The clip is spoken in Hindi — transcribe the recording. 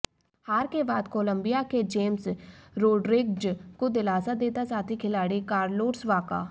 हार के बाद कोलंबिया के जेम्स रोड्रिग्ज़ को दिलासा देता साथी खिलाड़ी कार्लोस बाका